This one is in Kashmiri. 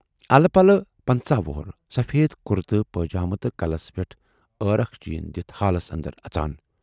الہٕ پلہٕ پنژاہ وُہُر، سفیٖد کُرتہٕ پٲجامہٕ تہٕ کلس پٮ۪ٹھ عٲرکھ چیٖن دِتھ ہالس اندر اَژان۔